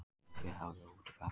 Sauðfé haft úti í Fagradal